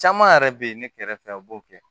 Caman yɛrɛ be yen ne kɛrɛfɛ a b'o kɛ